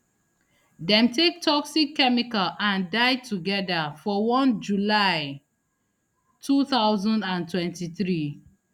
dem take toxic chemical and die togeda for one july two thousand and twenty-three